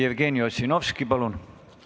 Jevgeni Ossinovski, palun!